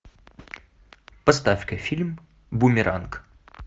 поставь ка фильм бумеранг